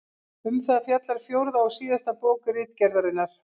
Um það fjallar fjórða og síðasta bók Ritgerðarinnar.